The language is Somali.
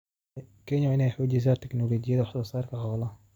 Kenya waa inay xoojisaa tignoolajiyada wax soo saarka xoolaha.